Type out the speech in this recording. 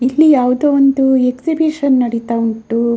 ಇಲ್ಲಿ ಯಾವುದೋ ಒಂದು ಎಕ್ಸಿಬಿಷನ್‌ ನಡೀತಾ ಉಂಟು.